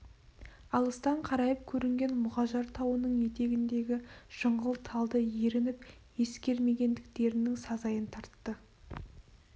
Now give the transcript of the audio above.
алыстан қарайып көрінген мұғажар тауының етегіндегі жыңғыл талды ерініп тексермегендіктерінің сазайын тартты